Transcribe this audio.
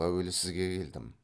әуелі сізге келдім